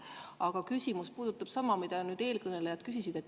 Aga küsimus puudutab sama, mida eelkõnelejad küsisid.